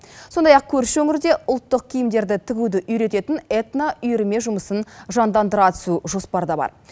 сондай ақ көрші өңірде ұлттық киімдерді тігуді үйрететін этноүйірме жұмысын жандандыра түсу жоспарда бар